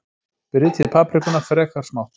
Brytjið paprikuna frekar smátt.